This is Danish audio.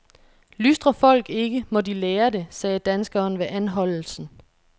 Lystrer folk ikke, må de lære det, sagde danskeren ved anholdelsen.